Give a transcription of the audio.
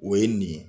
O ye nin ye